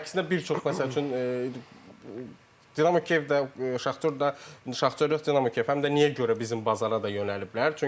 Düzdür, əksinə bir çox məsəl üçün Dinamo Kiyev də, Şaxtyor da, Şaxtyor yox, Dinamo Kiyev həm də niyə görə bizim bazara da yönəliblər.